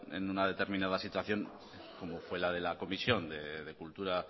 en una determinada situación como fue la de la comisión de cultura